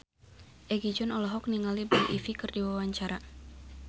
Egi John olohok ningali Blue Ivy keur diwawancara